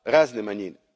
razne manjine.